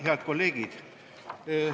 Head kolleegid!